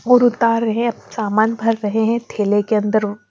और उतार रहे और सामान भर रहे हैं थैले की अन्दर--